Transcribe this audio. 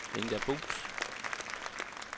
Inga Buus